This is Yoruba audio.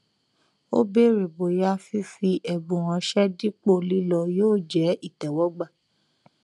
ó bèrè bóyá fífi ẹbùn ránṣẹ dípò lílọ yóò jẹ ìtẹwọgbà